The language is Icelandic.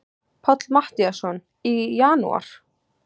Páll Matthíasson: Í janúar?